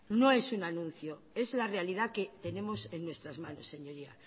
no es un anuncio es la realidad que tenemos en nuestras manos señorías